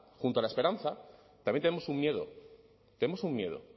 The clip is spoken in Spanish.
junto a la esperanza también tenemos un miedo tenemos un miedo